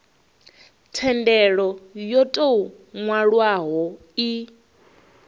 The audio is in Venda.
thendelo yo tou nwalwaho i